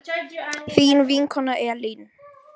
Þín vinkona Elín.